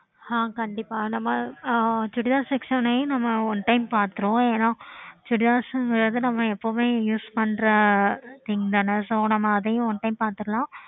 pkay